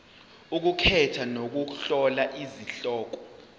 ukukhetha nokuhlola izihloko